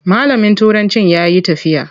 Malamin turancin ya yi tafiya.